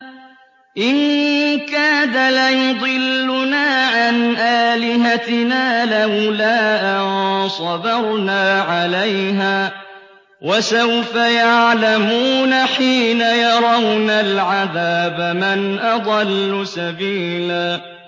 إِن كَادَ لَيُضِلُّنَا عَنْ آلِهَتِنَا لَوْلَا أَن صَبَرْنَا عَلَيْهَا ۚ وَسَوْفَ يَعْلَمُونَ حِينَ يَرَوْنَ الْعَذَابَ مَنْ أَضَلُّ سَبِيلًا